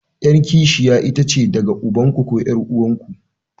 Yar kishiya itace daga ubanku ko 'yar'uwarku.